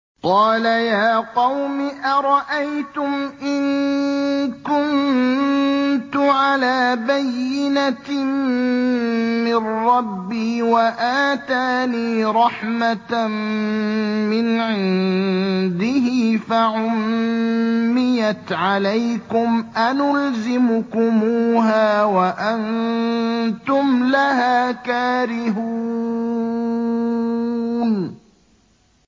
قَالَ يَا قَوْمِ أَرَأَيْتُمْ إِن كُنتُ عَلَىٰ بَيِّنَةٍ مِّن رَّبِّي وَآتَانِي رَحْمَةً مِّنْ عِندِهِ فَعُمِّيَتْ عَلَيْكُمْ أَنُلْزِمُكُمُوهَا وَأَنتُمْ لَهَا كَارِهُونَ